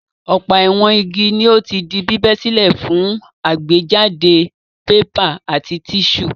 Ọ̀pọ̀ àwọn igi ni ó ti di bíbẹ́ sílẹ̀ fún àgbéjáde pépà àti tíṣù.